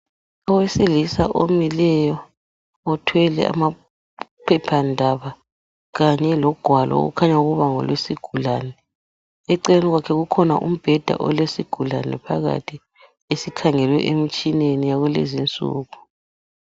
Owesilisa omileyo uthwele amaphephandaba kanye logwalo okukhanya ukuba ngolwesigulane eceleni kwakhe kukhona umbheda olesigulane phakathi esikhangele emitshineni yakulezi nsuku.